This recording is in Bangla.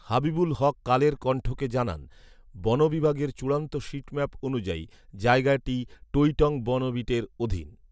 হাবিবুল হক কালের কণ্ঠকে জানান, বন বিভাগের চূড়ান্ত শিটম্যাপ অনুযায়ী জায়গাটি টৈটং বন বিটের অধীন